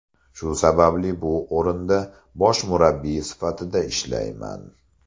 Shu sababli bu o‘rinda bosh murabbiy sifatida ishlayman.